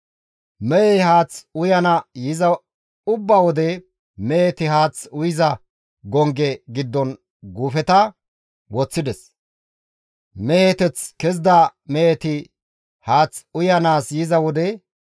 Mehey haaththe uyana yiza ubba wode meheti haath uyiza gongge giddon guufeta woththides; meheteth kezida meheti haath uyanaas yiza wode,